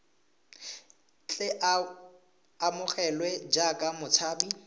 tle a amogelwe jaaka motshabi